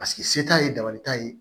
Paseke se t'a ye dabali t'a ye